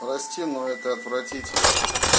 прости но это отвратительно